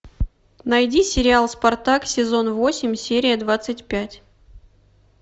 найди сериал спартак сезон восемь серия двадцать пять